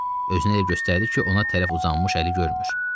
Özünü elə göstərdi ki, ona tərəf uzanmış əli görmür.